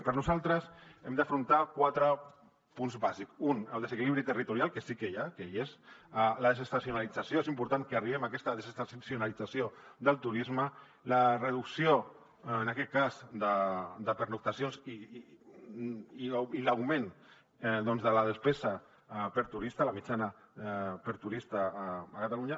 per nosaltres hem d’afrontar quatre punts bàsics un el desequilibri territorial que sí que hi ha que hi és la desestacionalització és important que arribem a aquesta desestacionalització del turisme la reducció en aquest cas de pernoctacions i l’augment de la despesa per turista la mitjana per turista a catalunya